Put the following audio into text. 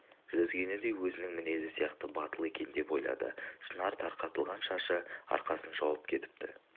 жүзгені де өзінің мінезі сияқты батыл екен деп ойлады шынар тарқатылған шашы арқасын жауып кетіпті